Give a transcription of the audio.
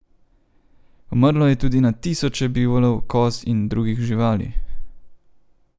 Umrlo je tudi na tisoče bivolov, koz in drugih živali.